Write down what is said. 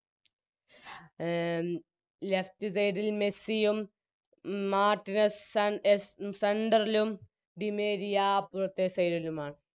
അഹ് Left side ൽ മെസ്സിയും Martinez സൻ എസ്സ് Central ലും ഡിമേരിയ അപ്പറത്തെ Side ലുമാണ്